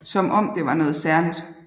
Som om det var noget særligt